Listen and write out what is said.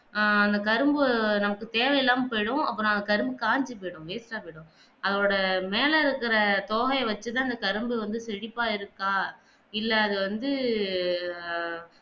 ஆஹ் அந்த கரும்பு நமக்கு தேவையில்லாமல் போய்டும் அப்ப அந்த கரும்பு காய்ஞ்சி போய்டும் waste ஆ போய்டும் அதோட மேல இருக்கிற தொகை வெச்சி தான் அந்த கரும்பு வந்து செழிப்பா இருக்கா இல்ல அது வந்து ஆஹ்